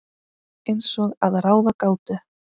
Eins og að ráða gátu.